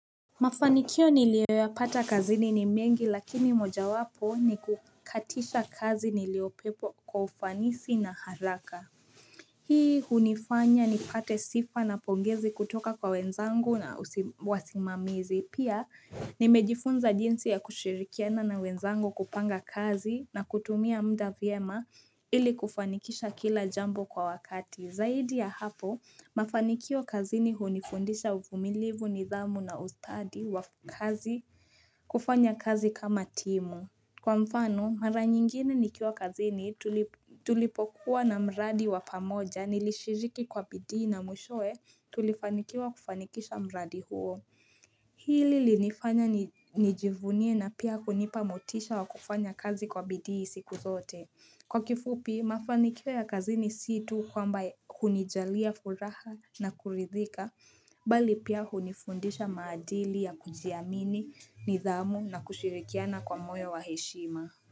Mafanikio niliyoyapata kazini ni mengi lakini mojawapo ni kukatisha kazi niliopewa kwa ufanisi na haraka Hii hunifanya ni pate sifa na pongezi kutoka kwa wenzangu na wasimamizi Pia nimejifunza jinsi ya kushirikiana na wenzangu kupanga kazi na kutumia mda vyema ili kufanikisha kila jambo kwa wakati Zaidi ya hapo, mafanikio kazini hunifundisha uvumilivu nidhamu na ustadi wa kazi kufanya kazi kama timu. Kwa mfano, mara nyingine nikiwa kazini tulipokuwa na mradi wa pamoja nilishiriki kwa bidii na mwishowe tulifanikiwa kufanikisha mradi huo. Hili linifanya nijivunie na pia kunipa motisha wa kufanya kazi kwa bidii siku zote. Kwa kifupi, mafanikio ya kazini sii tu kwamba kunijalia furaha na kuridhika, bali pia hunifundisha maadili ya kujiamini, nidhamu na kushirikiana kwa moyo wa heshima.